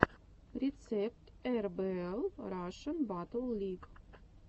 рецепт эрбээл рашн баттл лиг